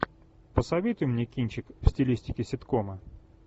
посоветуй мне кинчик в стилистике ситкома